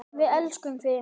Við elskum þig!